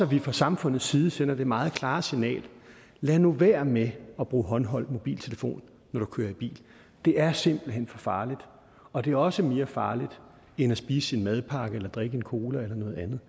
vi fra samfundets side sender det meget klare signal lad nu være med at bruge håndholdt mobiltelefon når du kører i bil det er simpelt hen for farligt og det er også mere farligt end at spise sin madpakke eller drikke en cola eller noget andet